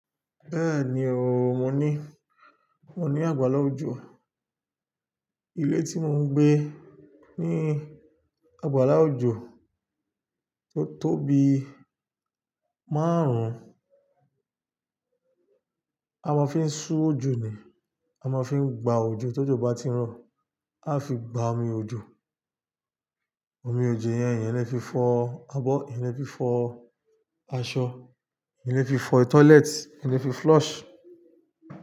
Bẹ́ẹ̀ni o, mo ní, mo ní àgbàlá òjò. Ilé tí mo ń gbé ní àgbàlá òjò tó tóbi márùn-ún. Bẹ́ẹ̀ni o, mo ní, mo ní àgbàlá òjò. Ama fin ṣú òjò ni, am fin gba òjò ni omi òjò yẹn èyàn lè fi fọ abọ́, èyàn lè fi fọ aṣọ, alefi fọ toilet, alẹ́ fi flush.